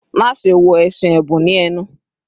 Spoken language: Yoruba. "Maṣe wo ẹṣin ẹbun ni ẹnu